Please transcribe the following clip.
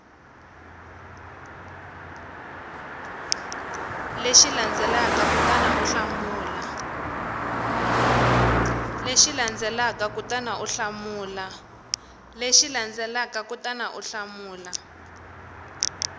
lexi landzelaka kutani u hlamula